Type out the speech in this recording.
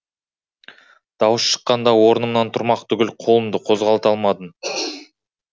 дауыс шыққанда орнымнан тұрмақ түгіл қолымды қозғалта алмадым